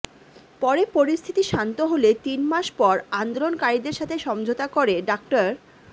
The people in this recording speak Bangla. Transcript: পরে পরিস্থিতি শান্ত হলে তিন মাস পর আন্দোলনকারিদের সাথে সমঝোতা করে ডা